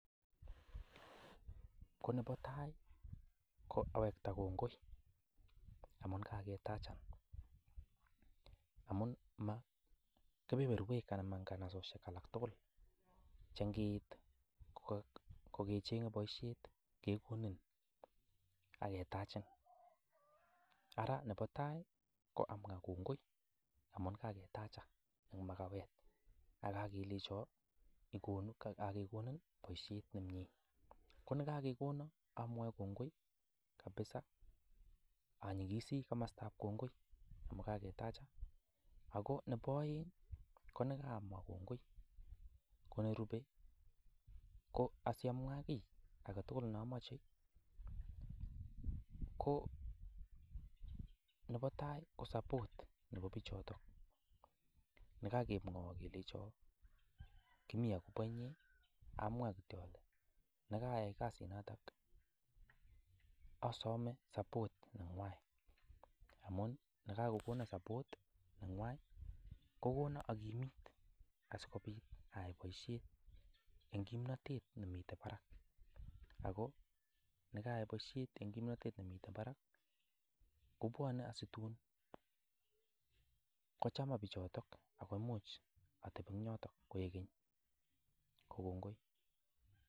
Ko nebo tai ko awekta kongoi amun kagetachan, amun ma kebeberwek anan nganasosiek tugul che ingiit kogencheng'e boisiet kegonin ak ketachin. Ara nebo tai ko amwa kongoi amun kagetaachan en magawet ak ka kelonchon, kagekonon boisiet nemyee. Ko ye kagekonon amwae kongoi kabisa anyigisi komostab kongoi amun kagetachan ago nebo oeng ko ne karamwa kongoi konerube ko asiamwa kiy age tugul ne omoche ko nebo tai ko support nebo bichoto nekagemwowon kelencho "kimi agob inyee" amwa kityo ale ye karayai kasinato asome support nenywan amaun ye kagakonon support neywan kogonon agimit asikobit ayai boisiet eng kimatet nemiten barak ago ye karayai boisiet en kimnatet nemi barak kobwone asitun kochama bichoto ago imuch atebi en yoton koigeny ko kongoi.